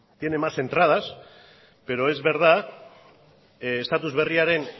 tiene más entradas pero es verdad estatus berriaren